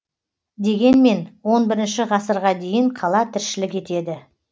дегенмен он бірінші ғасырға дейін қала тіршілік етеді